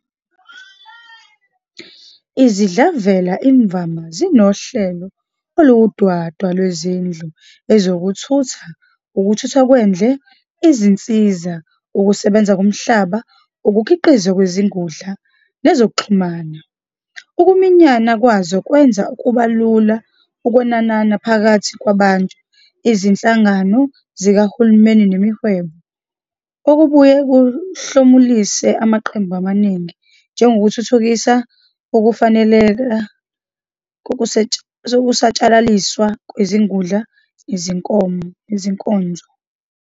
Izidlavela imvama zinohlelo oluwudwadwa lwezindlu, ezokuthutha, ukuthuthwa kwendle, izinsiza, ukusebenza komhlaba, ukukhiqizwa kwezingudla, nezokuxhumana. Ukuminyana kwazo kwenza kube lula ukwenanana phakathi kwabantu, izinhlangano zikahulumeni nemihwebo, okubuye kuhlomulise amaqembu amaningi, njengokuthuthukisa ukufaneleka kokusatshalaliswa kwezingudla nezinkonzo.